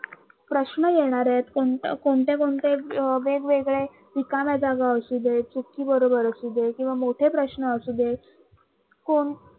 प्रश्न येणार आहेत कोणत कोणते कोणते वेगवेगळे रिकाम्या जागा असू दे चूक कि बरोबर असू दे किंवा मोठे प्रश्न असू दे कोण